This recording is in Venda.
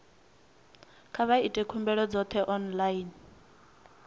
kha vha ite khumbelo dzoṱhe online